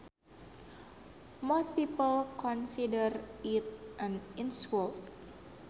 Most people consider it an insult